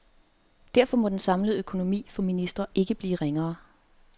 Derfor må den samlede økonomi for ministre ikke blive ringere.